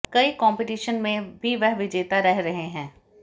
कई कंपीटीशन में भी वह विजेता रह रहे हैं